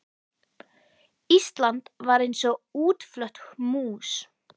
Ísland var eins og útflött mús.